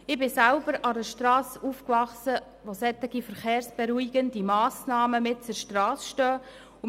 Ich bin selber an einer Strasse aufgewachsen, an der solche verkehrsberuhigenden Massnahmen mitten auf der Strasse stehen.